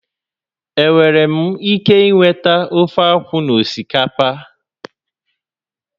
Enwere m ike inweta ofeakwu na osikapa?